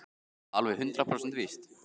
Er það alveg hundrað prósent víst?